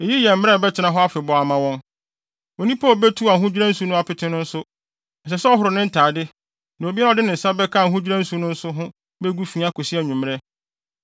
Eyi yɛ mmara a ɛbɛtena hɔ afebɔɔ ama wɔn. “Onipa a obetu ahodwira nsu no apete no nso, ɛsɛ sɛ ɔhoro ne ntade, na obiara a ɔde ne nsa bɛka ahodwira nsu no nso ho begu fi akosi anwummere.